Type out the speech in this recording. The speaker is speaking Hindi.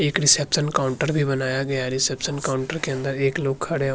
एक रिसेप्शन काउंटर भी बनाया गया है रिसेप्शन काउंटर के अंदर एक लोग खड़े --